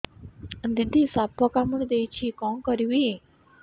ଦିଦି ସାପ କାମୁଡି ଦେଇଛି କଣ କରିବି